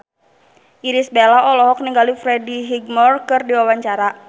Irish Bella olohok ningali Freddie Highmore keur diwawancara